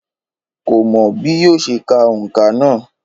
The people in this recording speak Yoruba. Kò mò bí yóò ṣe ka òǹkà náà